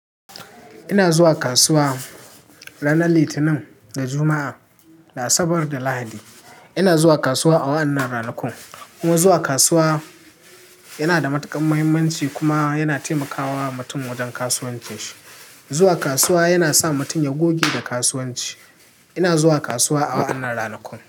Ina zuwa kasuwa ranar Litinin da Juma'a, da Asabar da Lahadi. Ina zuwa kasuwa a wa'annan ranakun kuma zuwa kasuwa yana da matuƙar muhimmanci kuma yana taimakawa mutum wajen kasuwancin shi. Zuwa kasuwa yana sa mutum ya goge da kasuwanci. Ina zuwa kasuwa a wa'annan ranakun.